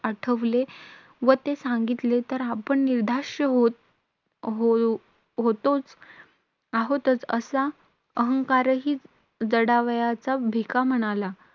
आठवले व ते सांगितले, तर आपण निर्धाष्य होत होऊ होतोच आहोत, असा अहंकारही जडावयाचा. भिका म्हणाला.